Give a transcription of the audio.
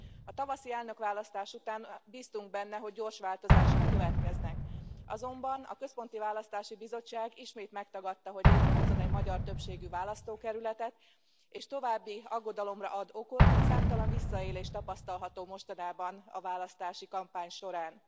A tavaszi elnökválasztás után bíztunk benne, hogy gyors változások következnek, azonban a Központi Választási Bizottság ismét megtagadta, hogy létrehozzon egy magyar többségű választókerületet, és további aggodalomra ad okot, hogy számtalan visszaélés tapasztalható mostanában a választási kampány során.